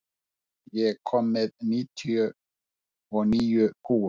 Hrefna, ég kom með níutíu og níu húfur!